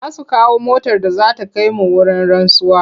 Za su kawo motar da za ta kai mu wurin rantsuwa.